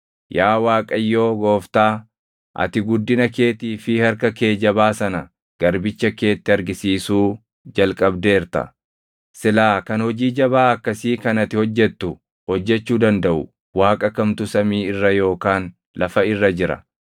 “Yaa Waaqayyoo Gooftaa, ati guddina keetii fi harka kee jabaa sana garbicha keetti argisiisuu jalqabdeerta. Silaa kan hojii jabaa akkasii kan ati hojjettu hojjechuu dandaʼu Waaqa kamtu samii irra yookaan lafa irra jira?